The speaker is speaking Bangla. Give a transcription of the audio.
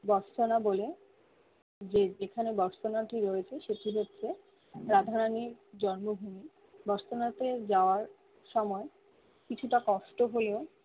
বলে যে যেখানে রয়েছে রাধা রানি জন্ম ভূমি যাওয়ার সময় কিছুটা কষ্ট হয়েও